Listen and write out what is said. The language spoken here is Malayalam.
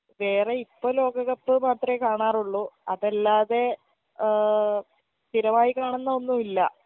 വേറെ ഇപ്പൊ ലോകക്കപ്പ് മാത്രെ കാണാറുള്ളു അതല്ലാതെ ഏ സ്ഥിരമായി കാണുന്ന ഒന്നും ഇല്ല